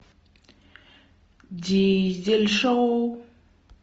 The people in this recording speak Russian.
дизель шоу